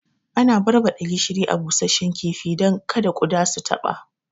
Ana barbaɗa gishiri a busashe kifi dan kada kuɗa su taɓa